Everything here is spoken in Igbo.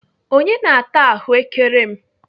Onye na-ata ahụ́kere m?